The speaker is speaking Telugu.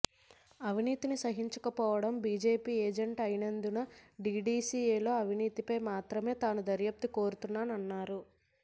అవినీతిని సహించకపోవటం బిజెపి ఎజండా అయినందున డిడిసిఎలో అవినీతిపై మాత్రమే తాను దర్యాప్తు కోరుతున్నానన్నారు